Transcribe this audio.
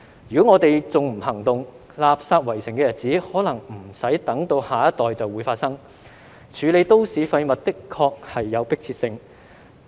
如果我們還不行動，垃圾圍城的日子可能不用等到下一代就會發生，處理都市廢物的確是有迫切性。